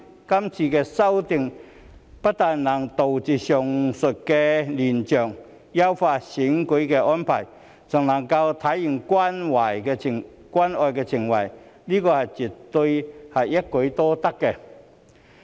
今次修訂不但能杜絕上述亂象，優化選舉安排，還能體現關愛情懷，這絕對是一舉多得。